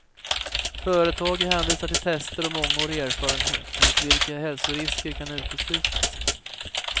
Företaget hänvisar till tester och mångårig erfarenhet enligt vilka hälsorisker kan uteslutas.